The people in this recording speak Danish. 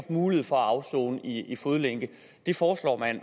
mulighed for at afsone i fodlænke det foreslår man